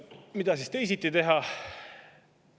Mida siis teisiti teha?